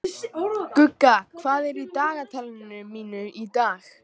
Gugga, hvað er í dagatalinu mínu í dag?